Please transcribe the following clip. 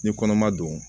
Ni kɔnɔma don